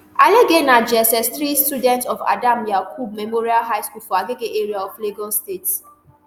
alege na jssthree student of adam yakub memorial high school for agege area of lagos state